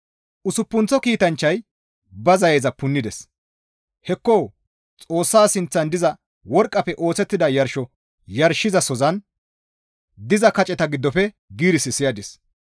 Usuppunththo kiitanchchayka ba zayeza punnides. Hekko! Xoossa sinththan diza worqqafe oosettida yarsho yarshizasozan diza kaceta giddofe giiris siyadis.